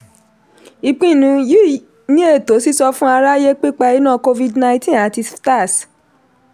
ìpinnu yìí ni ètò sísọfún aráyé pípa iná covid-19 àti sftas.